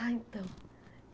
Ah, então.